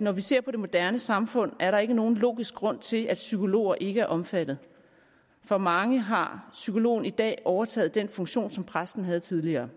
når vi ser på det moderne samfund er der ikke nogen logisk grund til at psykologer ikke er omfattet for mange har psykologen i dag overtaget den funktion som præsten havde tidligere